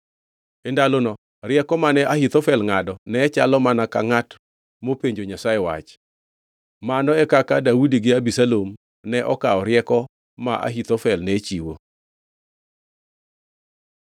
E ndalono rieko mane Ahithofel ngʼado nechalo mana ka ngʼat mopenjo Nyasaye wach. Mano e kaka Daudi gi Abisalom ne okawo rieko ma Ahithofel ne chiwo.